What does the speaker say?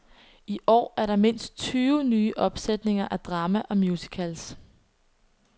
I år er der mindst tyve nye opsætninger af drama og musicals.